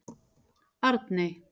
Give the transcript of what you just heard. Arney